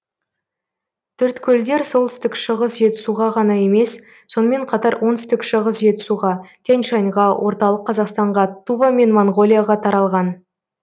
төрткөлдер солтүстік шығыс жетісуға ғана емес сонымен қатар оңтүстік шығыс жетісуға тянь шаньға орталық қазақстанға тува мен моңғолияға таралған